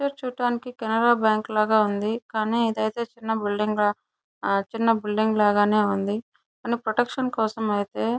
ఇ picture చూడడానికి Canara bank లాగా ఉంది. కానీ ఇది అయితే చిన బిల్డింగ్ చిన బిల్డింగ్ లాగానే ఉంది. కానీ ప్రొటెక్షన్ కోసమైతే --